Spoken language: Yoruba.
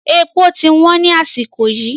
Èpò ti wọ́n ni àsìkò yìí